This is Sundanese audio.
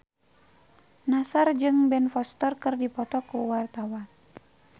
Nassar jeung Ben Foster keur dipoto ku wartawan